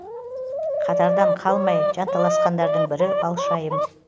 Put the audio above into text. қатардан қалмай жанталасқандардың бірі балшайым